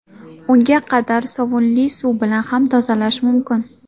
Unga qadar sovunli suv bilan ham tozalash mumkin.